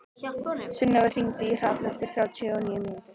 Sunneva, hringdu í Hrafn eftir þrjátíu og níu mínútur.